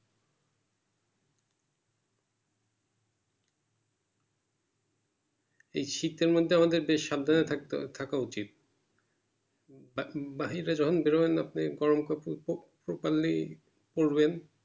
এই শীত কালে মধ্যে আমাদেরকে বেশ সাবধানে থাকতে থাকা উচিত বা বাহিরে যখন বেরোবেন আপনি গরম করতেছে পড়বেন।